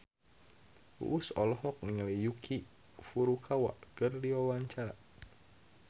Uus olohok ningali Yuki Furukawa keur diwawancara